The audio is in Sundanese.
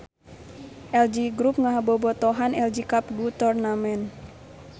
LG Group ngabobotohan LG Cup Go Tournament.